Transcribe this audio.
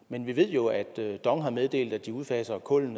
men vi ved jo at dong har meddelt at de udfaser kul